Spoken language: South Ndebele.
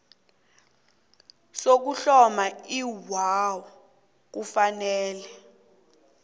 sokuhloma iwua kufanele